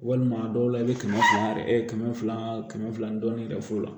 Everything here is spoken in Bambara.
Walima dɔw la i bɛ kɛmɛ fila yɛrɛ kɛmɛ fila kɛmɛ fila dɔɔnin dɔ f'u la